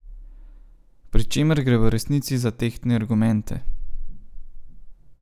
Pri čemer gre v resnici za tehtne argumente.